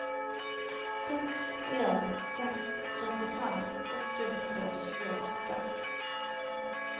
seks en en seks trettifem åtte hundre og tjueåtte